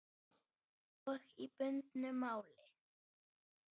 Og í bundnu máli